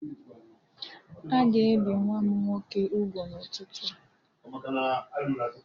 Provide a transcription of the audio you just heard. A ga-ebi nwa m nwoke ugwu n'ụtụtụ a.